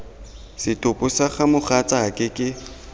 setopo sa ga mogatsaake ke